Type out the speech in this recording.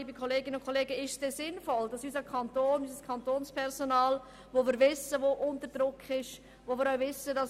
Liebe Kolleginnen und Kollegen, ist es denn sinnvoll, unserem Kantonspersonal, welches bereits unter Druck steht, solche Pauschalvorgaben zu machen?